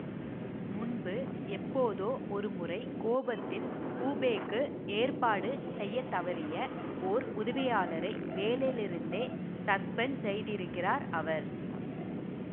முன்பு எப்போதோ ஒரு முறை கோபத்தில் கூபேக்கு ஏற்பாடு செய்ய தவறிய ஓர் உதவியாளரை வேலையிலிருந்தே சஸ்பெண்ட் செய்திருக்கிறார் அவர்